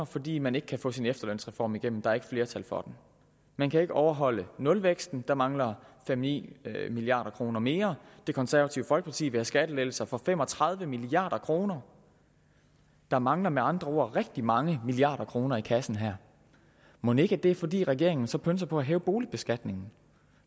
fordi man ikke kan få sin efterlønsreform igennem der er ikke flertal for den man kan ikke overholde nulvæksten der mangler fem ni milliard kroner mere det konservative folkeparti vil have skattelettelser for fem og tredive milliard kroner der mangler med andre ord rigtig mange milliarder kroner i kassen her mon ikke det er fordi regeringen så pønser på at hæve boligbeskatningen